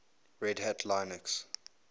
red hat linux